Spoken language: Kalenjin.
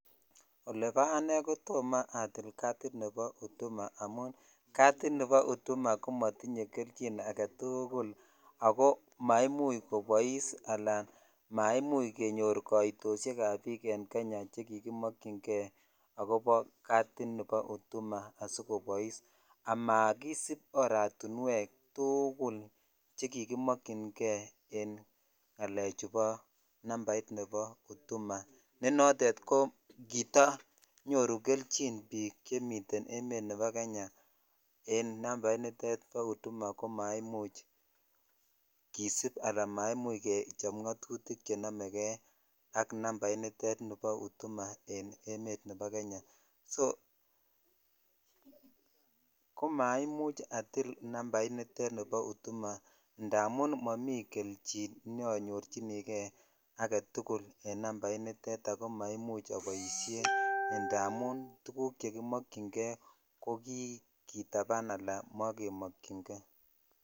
Olebo anei toma atil katit ab huduma amun katit nibo hduma ko.otinye kelchin agetukul ako maimuch kobois ala maimuch kenyor katoshek ab bik en Kenya che kikimookyin kei akobo katini bo huduma asikobois ama kisib oratiwek tukul chekikimokyin kei en ngalechu bo nambat nebo huduma ne notet ko kitoo konyoru kelchin bik chemiten amet nebo Kenya en nambainito bo huduma ko maimuch kisip ala maimuch kechob notutik chenomekei ak nambainitet bo huduma en emet nebo Kenya so komaimuch atil nambait nitet bo hudum indamun amun momi kechin neonyorchinikei en namainitet ak maichu aboishen indamun tuguk chekimokyin kei ko kikitapan .